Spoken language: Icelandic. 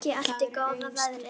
Fólkið elti góða veðrið.